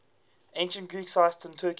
ancient greek sites in turkey